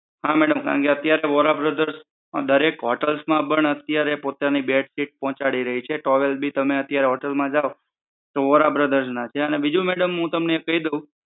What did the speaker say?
હા madam કારણકે Vora brothers દરેક hotels માં પણ અત્યારે પોતાની બેડશીટ પોહચાડી રહી છે. towel ભી તમે અત્યારે hotel માં જાવ તો વોરા brothers ના છે અને બીજુ હું તમને કહી દઉં